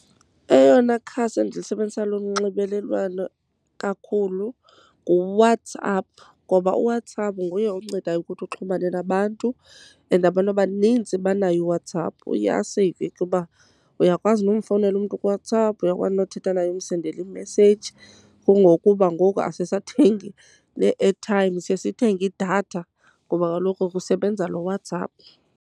Eyona khasi endilisebenzisayo lonxibelelwano kakhulu nguWhatsApp, ngoba uWhatsApp nguye oncedayo ukuthi uxhumane nabantu and abantu abaninzi banaye uWhatsApp. Uye aseyive kuba uyakwazi nomfowunela umntu kuWhatsApp, uyakwazi nothetha naye, umsendele imeseji. Kungokuba ngoku asisathengi nee-ethayimu siye sithenge idatha ngoba kaloku kusebenza lo WhatsApp.